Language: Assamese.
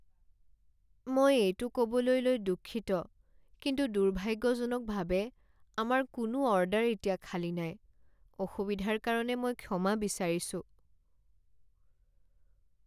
মই এইটো ক'বলৈ লৈ দুঃখিত, কিন্তু দুৰ্ভাগ্যজনকভাৱে, আমাৰ কোনো অৰ্ডাৰ এতিয়া খালী নাই। অসুবিধাৰ কাৰণে মই ক্ষমা বিচাৰিছোঁ।